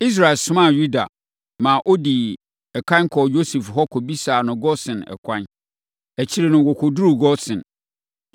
Israel somaa Yuda, ma ɔdii ɛkan kɔɔ Yosef hɔ kɔbisaa no Gosen ɛkwan. Akyire no, wɔkɔduruu Gosen.